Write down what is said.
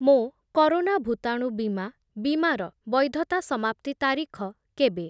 ମୋ କରୋନା ଭୂତାଣୁ ବୀମା ବୀମାର ବୈଧତା ସମାପ୍ତି ତାରିଖ କେବେ?